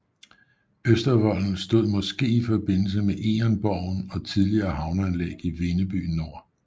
Østervolden stod måske i forbindelse med Egernborgen og tidligere havneanlæg i Vindeby Nor